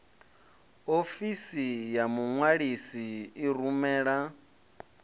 ofisi ya muṅwalisi i rumela